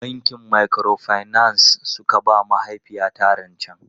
Bankin Microfinance suka ba mahaifiyata rancen.